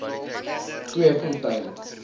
tweefontein